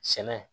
Sɛnɛ